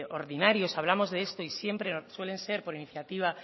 ordinarios hablamos de esto y siempre suelen ser por iniciativa